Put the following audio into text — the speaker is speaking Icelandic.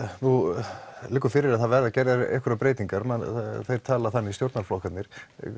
nú liggur fyrir að það verði gerðar einhverjar breytingar þeir tala þannig stjórnarflokkarnir